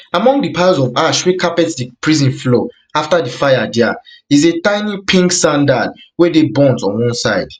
among di piles of ash wey carpet di prison floor after di fire dia is a tiny pink sandal wey dey burnt on one side